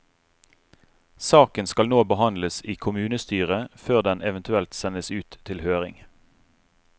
Saken skal nå behandles i kommunestyret før den eventuelt sendes ut til høring.